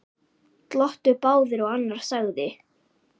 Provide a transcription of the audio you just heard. Glottu báðir og annar sagði